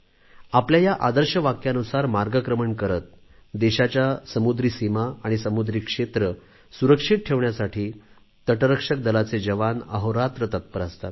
आपल्या या आदर्श वाक्यानुसार मार्गक्रमण करीत देशाच्या समुद्री सीमा आणि समुद्री क्षेत्र सुरक्षित ठेवण्यासाठी तटरक्षक दलाचे जवान अहोरात्र तत्पर असतात